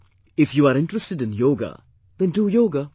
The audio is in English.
If you are interested in Yoga, then do Yoga